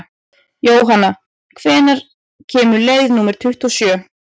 Jónanna, hvenær kemur leið númer tuttugu og sjö?